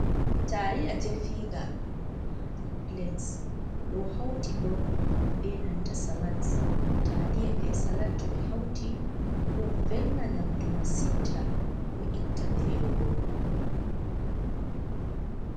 Taliya definga ha nɗer Pilate ɗo hauti ɓo ɓe nanta salat, taliya ɓe salat to ɓe hauti ɗo velna nyamɗu masinta ɗo itta velo ɓo.